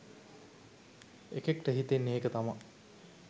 එකෙක්ට හිතෙන්නෙ ඒක තමා.